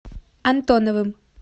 антоновым